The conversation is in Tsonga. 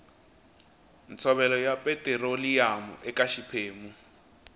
ntshovelo ya petiroliyamu eka xiphemu